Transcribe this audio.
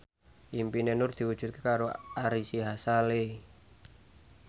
impine Nur diwujudke karo Ari Sihasale